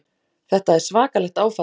Þetta er svakalegt áfall!